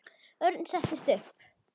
Örn settist upp.